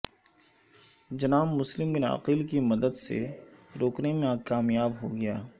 جناب Muslim bin Aqil کی مدد سے روکنے میں کامیاب ہو گیا